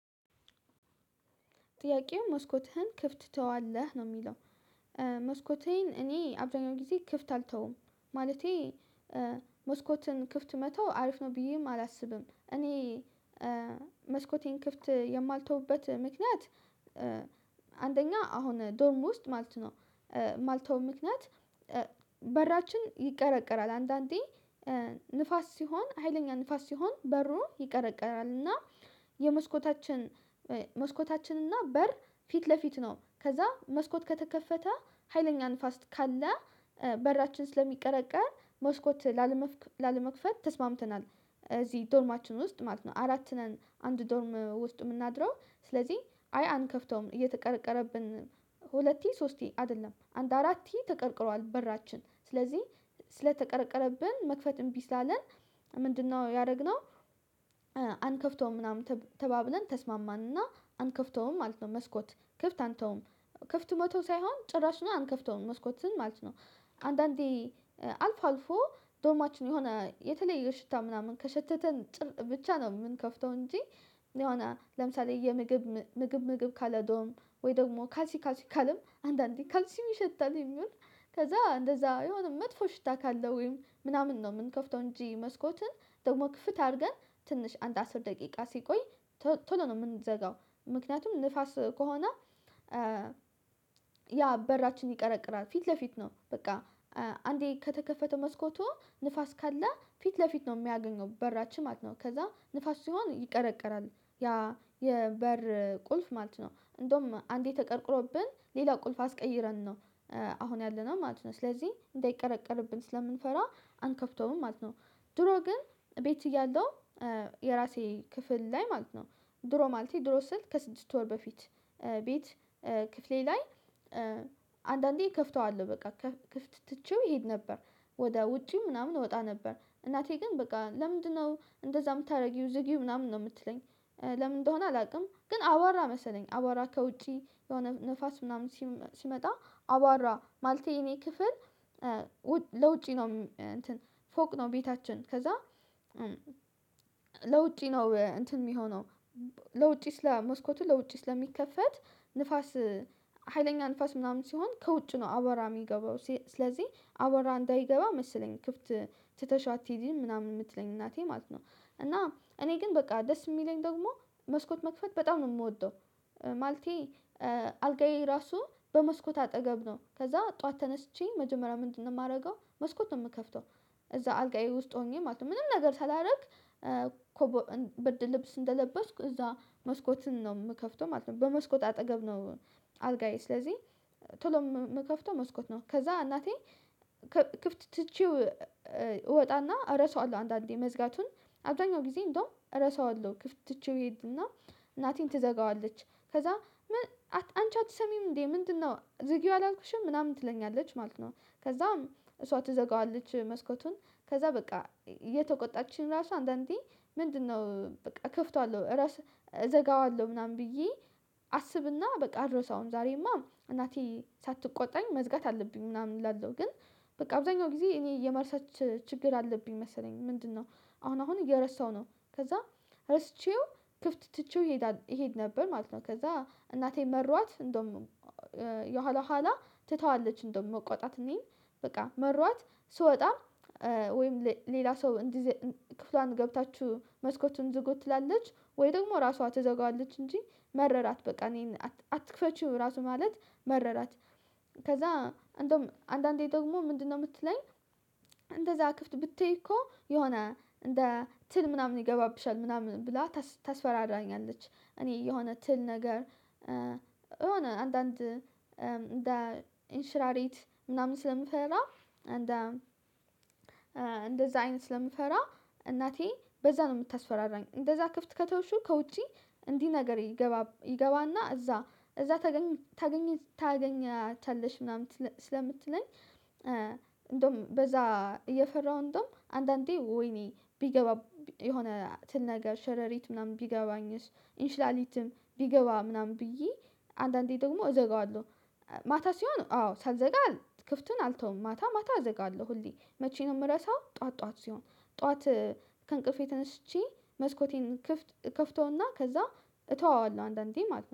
ጥያቄው መስኮትህን ክፍት ትተዋለህ? ነው የሚለው መስኮቴን እኔ አብዛኛውን ጊዜ ክፍት አልተውም ማለቴ መስኮትን ክፍት መተው አሪፍ ነው ብዬም አላስብም እኔ መስኮቴን ክፍት የማልተውበት ምክንያት አንደኛ አሁን ዶርም ውስጥ ማለት ነው ማልተወው ምክንያት በራችን ይቀረቀራል አንዳንዴ ንፋስ ሲሆን ሀይለኛ ንፋስ ሲሆን በሩ ይቀረቀራል እና የመስኮታችን መስኮታችን እና በር ፊት ለፊት ነው ከዛ መስኮት ከተከፈተ ሀይለኛ ንፋስ ካለ በራችን ስለሚቀረቀር መስኮት ላለመክፈት ተስማምተናል እዚህ ዶርማችን ውስጥ ማለት ነው አራት ነን አንድ ዶርም ውስጥ የምናድረው ስለዚህ አይ አንከፍተውም እየተቀረቀረብን ሁለቴ ሶስቴ አይደለም አንድ አራት ተቀርቅሯል በራችን ስለዚህ ስለተቀረቀረብን መክፈት እምቢ ስላለን ምንድነው ያደረግነው አንከፍተውም ምናምን ተባብለን ተስማማንና አንከፍተውም ማለት ነው መስኮት ክፍት አንተውም ክፍት መተው ሳይሆን ጭራሹኑ አንከፍተውም መስኮትን ማለት ነው አንዳንዴ አልፎ አልፎ ዶርማችን የሆነ የተለየ ሽታ ምናምን ከሸተተን ብቻ ነው የምንከፍተው እንጂ የሆነ ለምሳሌ የምግብ ምግብ ምግብ ካለ ዶርም ወይ ደግሞ ካልሲ ካልሲ ካለም አንዳንዴ ካልሲም ይሸታልም ይሁን ከዛ እንደዛ የሆነ መጥፎ ሽታ ካለው ወይም ምናምን ነው የምንከፍተው እንጂ መስኮትን ደግሞ ክፍት አድርገን ትንሽ አንድ አስር ደቂቃ ሲቆይ ቶሎ ነው የምንዘጋው ምክንያቱም ንፋስ ከሆነ ያ በራችን ይቀረቅራል ፊት ለፊት ነው በቃ አንዴ ከተከፈተው መስኮቱ ንፋስ ካለ ፊት ለፊት ነው የሚያገኘው በራችንን ማለት ነው ከዛ ንፋስ ሲሆን ይቀረቀራል ያ የበር ቁልፍ ማለት ነው እንደውም አንዴ ተቀርቅሮብን ሌላ ቁልፍ አስቀይረን ነው አሁን ያለነው ማለት ነው ስለዚህ እንዳይቀረቀርብን ስለምንፈራ አንከፍተውም ማለት ነው ድሮ ግን ቤት እያለው የራሴ ክፍል ላይ ማለት ነው ድሮ ማለቴ ድሮ ስል ከስድስት ወር በፊት ቤት ክፍሌ ላይ አንዳንዴ ከፍተዋለሁ በቃ ክፍት ትቼው እሄድ ነበር ወደ ውጪ ምናምን እወጣ ነበር እናቴ ግን በቃ ለምንድነው እንደዛ የምታደርጊው ዝጊው ምናምን ነው የምትለኝ ለምን እንደሆነ አላውቅም ግን አቧራ መሰለኝ አቧራ ከውጪ የሆነ ንፋስ ምናምን ሲመጣ አባራ ማለቴ የኔ ክፍል ለውጪ ነው ፎቅ ነው ቤታችን ከዛ ለውጪ ነው እንትን የሚሆነው ለውጪ ስለ መስኮቱ ለውጪ ስለሚከፈት ንፋስ ሀይለኛ ንፋስ ምናምን ሲሆን ከውጭ ነው አቧራ የሚገባው ስለዚህ አቧራ እንዳይገባ መሰለኝ ክፍት ትተሽ አትሂጂ ምናምን የምትለኝ እናቴ ማለት ነው እና እኔ ግን በቃ ደስ የሚለኝ ደግሞ መስኮት መክፈት በጣም ነው የምወደው ማለቴ አልጋዬ ራሱ በመስኮት አጠገብ ነው ከዛ ጠዋት ተነስቼ መጀመሪያ ምንድነው የማደርገው መስኮት ነው የምከፍተው እዛ አልጋዬ ውስጥ ሆኜ ማለት ነው ምንም ነገር ሳላደርግ ብርድ ልብስ እንደለበስኩ እዛ መስኮትን ነው የምከፍተው ማለት ነው በመስኮት አጠገብ ነው አልጋዬ ስለዚህ ቶሎ የምከፍተው መስኮት ነው ከዛ እናቴ ክፍት ትቼው እወጣና እረሳዋለሁ አንዳንዴ መዝጋቱን አብዛኛውን ጊዜ እንደውም እረሳዋለሁ ክፍት ትቼው እሄድና እናቴ ትዘጋዋለች ከዛ አንቺ አትሰሚም እንዴ ምንድነው ዝጊው አላልኩሽም ምናምን ትለኛለች ማለት ነው ከዛም እሷ ትዘጋዋለች መስኮቱን ከዛ በቃ እየተቆጣችኝ ራሱ አንዳንዴ ምንድነው በቃ እከፍተዋለሁ እዘጋዋለሁ ምናምን ብዬ አስብና በቃ አልረሳውም ዛሬማ እናቴ ሳትቆጣኝ መዝጋት አለብኝ ምናምን እላለሁ ግን በቃ አብዛኛው ጊዜ እኔ የመርሳት ችግር አለብኝ መሰለኝ ምንድነው አሁን አሁን እየረሳሁ ነው ከዛ ረስቼው ክፍት ትቼው እሄድ ነበር ማለት ነው ከዛ እናቴ መሯት እንደውም የኋላ ኋላ ትታዋለች እንደውም መቆጣት እኔን በቃ መሯት ስወጣ ወይም ሌላ ሰው ክፍሏን ገብታችሁ መስኮቱን ዝጉ ትላለች ወይ ደግሞ ራሷ ትዘጋዋለች እንጂ መረራት በቃ እኔን አትክፈቺው ራሱ ማለት መረራት ከዛ እንደውም አንዳንዴ ደግሞ ምንድነው የምትለኝ እንደዛ ክፍት ብተይ እኮ የሆነ እንደ ትል ምናምን ይገባብሻል ምናምን ብላ ታስፈራራኛለች እኔ የሆነ ትል ነገር የሆነ አንዳንድ እንደ እንሽላሌት ምናምን ስለምፈራ እንደ እንደዛ አይነት ስለምፈራ እናቴ በዛ ነው የምታስፈራራኝ እንደዛ ክፍት ከተውሽው ከውጪ እንዲህ ነገር ይገባና እዛ እዛ ታገኛታለሽ ምናምን ስለምትለኝ በዛ እየፈራሁ እንደውም አንዳንዴ ወይኔ ቢገባ የሆነ ትል ነገር ሸረሪት ምናምን ቢገባኝስ እንሽላሊትም ቢገባ ምናምን ብዬ አንዳንዴ ደግሞ እዘጋዋለሁ ማታ ሲሆን አዎ ሳልዘጋ ክፍቱን አልተውም ማታ ማታ እዘጋለሁ ሁሌ መቼ ነው የምረሳው ጠዋት ጠዋት ሲሆን ጠዋት ከእንቅልፌ ተነስቼ መስኮቴን እከፍተውና ከዛ እተወዋለሁ አንዳንዴ ማለት ነው